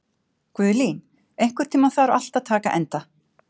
Guðlín, einhvern tímann þarf allt að taka enda.